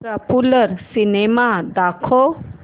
popular cinema दाखव